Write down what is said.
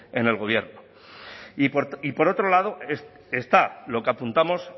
en el gobierno y por otro lado está lo que apuntamos